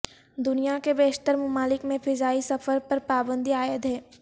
دنیا کے بیشتر ممالک میں فضائی سفر پر پابندی عائد ہے